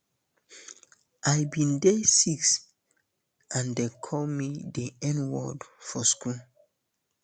i bin dey six and dem call me di nword for school